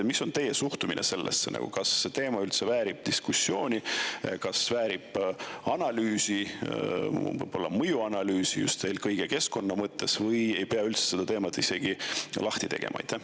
Mis on teie suhtumine sellesse: kas see teema väärib diskussiooni, väärib analüüsi, võib-olla mõjuanalüüsi just eelkõige keskkonna mõttes või ei pea üldse seda teemat isegi avama?